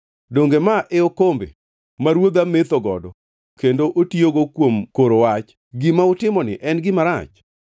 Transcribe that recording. Donge ma e okombe ma ruodha metho godo kendo otiyogo kuom koro wach? Gima utimoni en gima rach.”